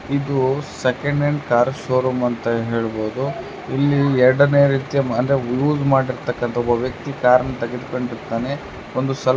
ಇದು second hand cars showroom ಅಂತ ಹೇಳ್ಬಹುದು ಇಲ್ಲಿ ಎರಡೆಂಡೆಯ ರೀತಿಯ್ ಅಂದ್ರೆ ಯೂಸ್ ಮಾಡಿರುತ್ಥಕಂತ್ತ ಒಬ್ಬ ವ್ಯಕ್ತಿ ಕಾರ್ ತಗೊಂಡಿರ್ತನೆ ಒಂದು --